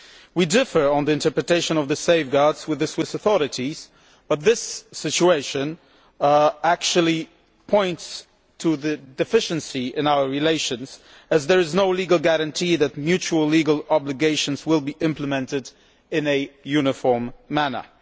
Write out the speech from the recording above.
We differ on the interpretation of the safeguards with the Swiss authorities, but this situation actually points to the deficiency in our relations, as there is no legal guarantee that mutual legal obligations will be implemented in a uniform manner.